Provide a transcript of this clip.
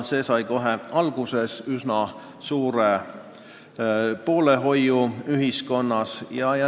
See sai kohe alguses üsna suure poolehoiu ühiskonnas.